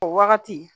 O wagati